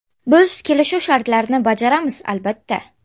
Biz kelishuv shartlarini bajaramiz, albatta.